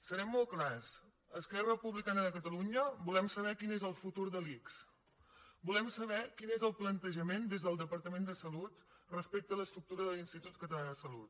serem molt clars a esquerra republicana de catalunya volem saber quin és el futur de l’ics volem saber quin és el plantejament des del departament de salut respecte a l’estructura de l’institut català de salut